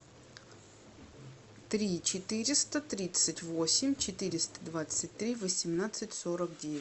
три четыреста тридцать восемь четыреста двадцать три восемнадцать сорок девять